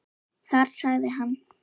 Þar sagði hann